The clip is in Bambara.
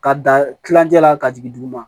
Ka dan kilancɛ la ka jigin duguma